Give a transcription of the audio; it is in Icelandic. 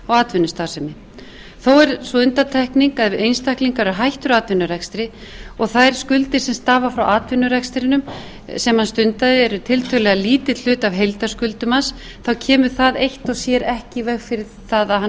atvinnustarfsemi þó er sú undantekning að einstaklingar eru hættir atvinnurekstri og þær skuldir sem stafa frá atvinnurekstrinum sem hann stundar eru tiltölulega lítill hluti af heildarskuldum hans þá kemur það eitt og sér ekki í veg fyrir það að hann